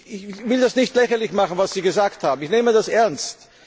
Ich will das nicht lächerlich machen, was Sie gesagt haben, ich nehme das ernst.